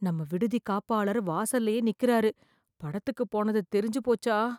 நம்ம விடுதி காப்பாளர் வாசல்லயே நிக்குறாரு , படத்துக்கு போனது தெரிஞ்சு போச்சா?